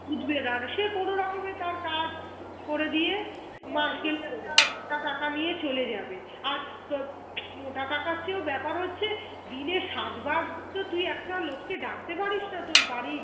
টাকা নিয়ে চলে যাবে আর তোর মোটা টাকার চেয়েও ব্যাপার হচ্ছে দিনের সাত বার তো তুই একটা লোক কে ডাকতে পারিসনা তোর বাড়ি